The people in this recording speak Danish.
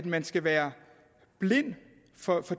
man skal være blind for